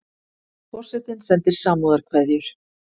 Forsetinn sendir samúðarkveðjur